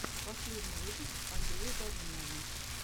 последний выпуск андрея долинного